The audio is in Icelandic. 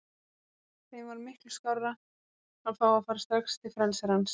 Þeim var miklu skárra að fá að fara strax til frelsarans.